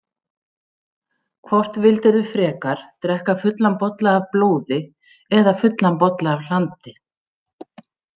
Hvort vildirðu frekar drekka fullan bolla af blóði eða fullan bolla af hlandi?